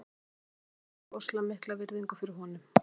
Allir leikmenn bera rosalega mikla virðingu fyrir honum.